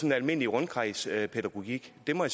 en almindelig rundkredspædagogik det må